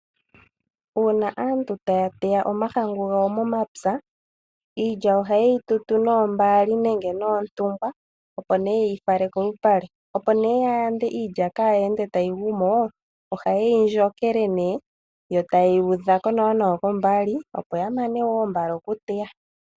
Uuna aantu taya teya omahangu gawo momapya, iilya oha ye yi tutu noombaali nenge noontungwa, opo nee ye yi fale kolupale. Iilya ohayi ndjokelwa yo tayi udhwako nawa kombaali opo kaa yigwe mo yo aantu yamane oku tuta mbala.